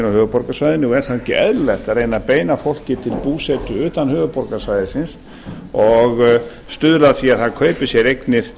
höfuðborgarsvæðinu og er þá ekki eðlilegt að reyna að beina fólki til búsetu utan höfuðborgarsvæðisins og stuðla að því að það kaupi sér eignir